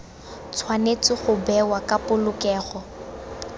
tshwanetse go bewa ka polokego